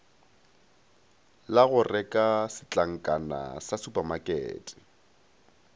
la goreka setlankana sa supamakete